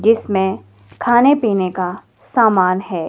इसमें खाने पीने का सामान है।